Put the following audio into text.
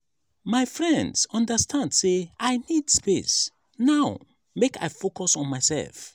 my friends understand sey i need space now make i focus on mysef.